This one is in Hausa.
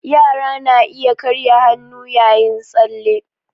Yara na iya karya hannu yayin tsalle